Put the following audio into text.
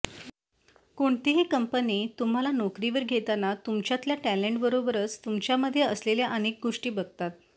कोणतीही कंपनी तुम्हाला नोकरीवर घेताना तुमच्यातल्या टॅलेंटबरोबरच तुमच्यामध्ये असलेल्या अनेक गोष्टी बघतात